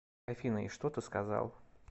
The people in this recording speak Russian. афина и что ты сказал